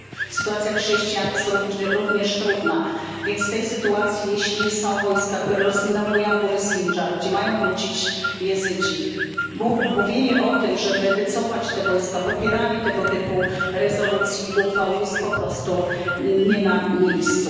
Sytuacja chrześcijan jest również trudna. W tej sytuacji jeśli są wojska, które rozminowują góry Sindżar, gdzie mają wrócić Jezydzi, mówienie o tym, żeby wycofać te wojska, popieranie tego typu rezolucji, uchwał, jest po prostu nie na miejscu.